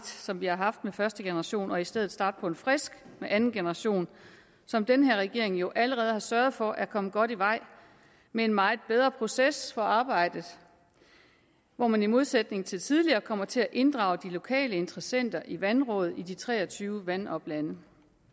som vi har haft med første generation og i stedet starte på en frisk med anden generation som den her regering jo allerede har sørget for er kommet godt i vej med en meget bedre proces for arbejdet hvor man i modsætning til tidligere kommer til at inddrage de lokale interessenter i vandrådet i de tre og tyve vandoplande